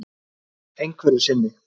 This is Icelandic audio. Einhverju sinni.